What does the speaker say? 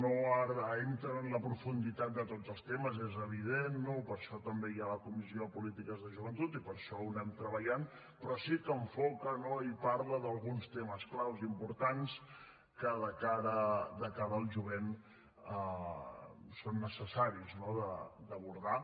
no entra en la profunditat de tots els temes és evident no per això també hi ha la comissió de polítiques de joventut i per això ho anem treballant però sí que enfoca i parla d’alguns temes clau importants que de cara al jovent són necessaris d’abordar